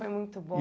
Foi muito